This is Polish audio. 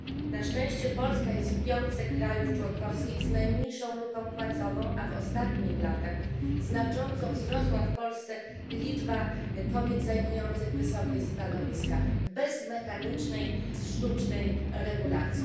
Na szczęście Polska jest w piątce państw członkowskich z najmniejszą luką płacową, a w ostatnich latach znacząco wzrosła w Polsce liczba kobiet zajmujących wysokie stanowiska bez mechanicznej, sztucznej regulacji.